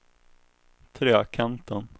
Trekanten